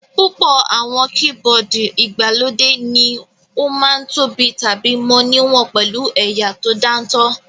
Púpọ̀ àwọn keyboard ìgbàlódé ní ó ma ń tóbi tàbí mọ níwọ̀n pẹ̀lú ẹ̀yà tó dáńtọ́